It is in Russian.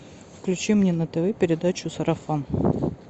включи мне на тв передачу сарафан